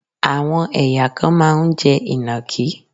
Àwọn ẹ̀yà kan máa ń jẹ Ìnàkí.